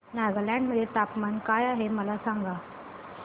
नागालँड मध्ये तापमान काय आहे मला सांगा